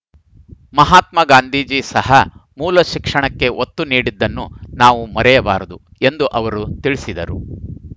ಮಹಾತ್ಮ ಗಾಂಧೀಜಿ ಸಹ ಮೂಲ ಶಿಕ್ಷಣಕ್ಕೆ ಒತ್ತು ನೀಡಿದ್ದನ್ನು ನಾವು ಮರೆಯಬಾರದು ಎಂದು ಅವರು ತಿಳಿಸಿದರು